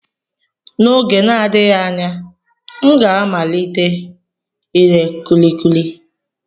N'oge na-adịghị anya, m ga-amalite ire kulikuli.